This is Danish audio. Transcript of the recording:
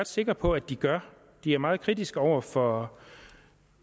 sikker på at de gør de er meget kritiske over for